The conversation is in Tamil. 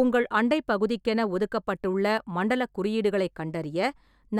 உங்கள் அண்டைப்பகுதிக்கென ஒதுக்கப்பட்டுள்ள மண்டலக் குறியீடுகளைக் கண்டறிய,